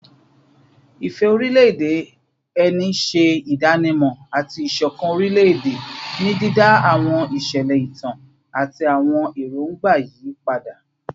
Ìfẹ́ orílẹ̀-èdè ẹni ṣe ìdánimọ̀ àti ìṣọ̀kan orílẹ̀-èdè, ní dídá àwọn ìṣẹ̀lẹ̀ ìtàn àti àwọn èròǹgbà yí padà